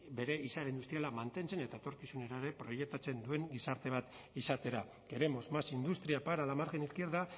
bere izaera industriala mantentzen eta etorkizunera ere proiektatzen duen gizarte bat izatera queremos más industria para la margen izquierda